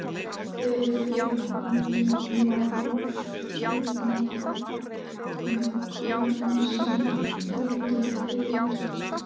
Við flutninginn mást einnig kornin sem vindurinn feykir.